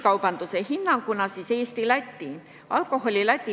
Kõigepealt piirikaubandusest Eesti-Läti piiril.